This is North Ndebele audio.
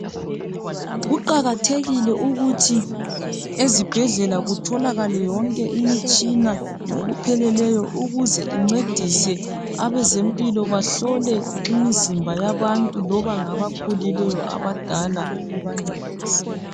Kuqakathekile ukuthi ezibhedlela kutholakale yonke imitshina ngokupheleleyo ukuze incedise abezempilo bahlole imizimba yabantu loba ngabakhulileyo abadala ubancedise.